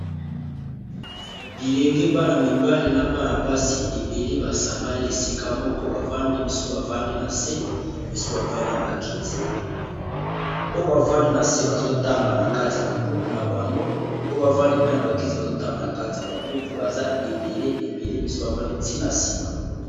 Bilenge bana mibali na bana-basi ebele basangani esika moko, bavandi misusu bavandi na se, misusu bavandi na bakiti oyo bavandi na se bazotanga na kati ya ba buku na bango oyo bavandi pe na ba kiti bazotanga na kati ya ba buku baza ebele misusu bavandi ti na ciment.